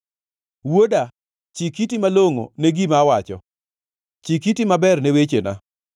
Wuoda, chik iti malongʼo ne gima awacho, chik iti maber ne wechena.